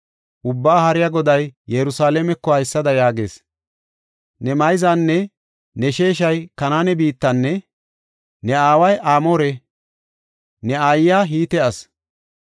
Ubbaa Haariya Goday Yerusalaameko haysada yaagees. Ne mayzanne ne sheeshay Kanaane biittana; ne aaway Amoore; ne aayiya Hite asi.